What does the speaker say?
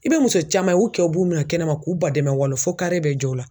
I bɛ muso caman ye u kɛw b'u mina kɛnɛma k'u badɛmɛ walon fo bɛ jɔ u la.